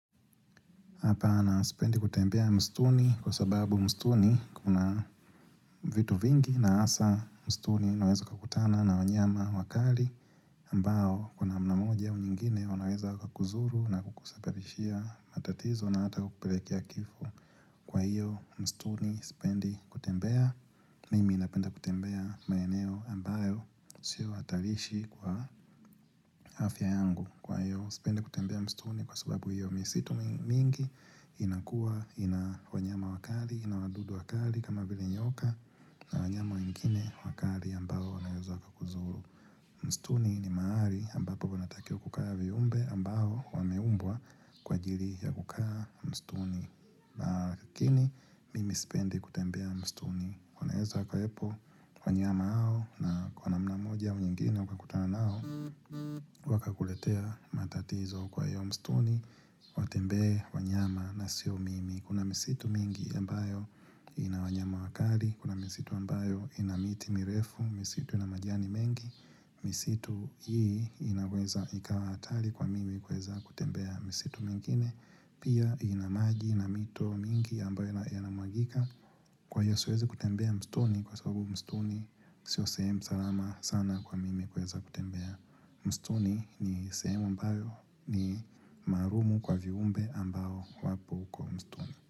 Hapa anasipendi kutembea mstuni kwa sababu mstuni kuna vitu vingi na asa mstuni nawezo kakutana na wanyama wakali mbao kuna mnamoja unyingine onaweza kakuzuru na kukusaparishia matatizo na ata kukuperekia kifo Kwa hiyo mstuni spendi kutembea mimi inapenda kutembea maeneo ambayo sio hatarishi kwa afya yangu Kwa hiyo, sipende kutembea mstuni kwa sababu hiyo misitu mingi inakua ina wanyama wakali, ina wadudu wakali kama vile nyoka na wanyama wengine wakali ambao wanayozwa kakuzuru. Mstuni ni mahali ambapo wanatakio kukaa viumbe ambao wameumbwa kwa jiri ya kukaa mstuni. Lakini mimi spendi kutembea mstuni Kunaezo kuepo wanyama hao na kwa namna moja au nyingine kwa kutana nao waka kuletea matatizo kwa hiyo mstuni Watembe wanyama na sio mimi Kuna misitu mingi ambayo inawanyama wakali Kuna misitu ambayo inamiti mirefu misitu namajani mengi misitu hii inaweza ikawa hatari kwa mimi kueza kutembea misitu mingine Pia inamagi na mito mingi ambayo yanamwagika Kwa siwezi kutembea mstuni kwa sababu mstuni Sio sehemu salama sana kwa mimi kweza kutembea mstuni ni same ambayo ni marumu kwa viumbe ambayo wapu kwa mstuni.